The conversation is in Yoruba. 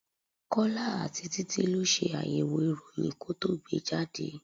Kọ́lá àti títí lọ ṣe àyẹ̀wò ìròyìn ko tó gbe jáde.